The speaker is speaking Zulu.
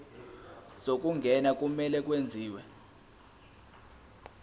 zokungena kumele kwenziwe